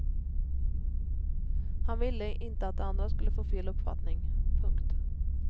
Han ville inte att de andra skulle få fel uppfattning. punkt